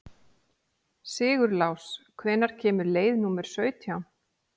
Sigurlás, hvenær kemur leið númer sautján?